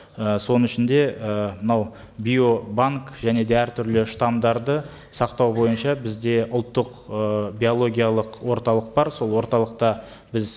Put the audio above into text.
і соның ішінде і мынау биобанк және де әртүрлі штаммдарды сақтау бойынша бізде ұлттық ы биологиялық орталық бар сол орталықта біз